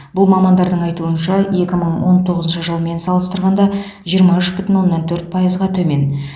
бұл мамандардың айтуынша екі мың он тоғызыншы жылмен салыстырғанда жиырма үш бүтін оннан төрт пайызға төмен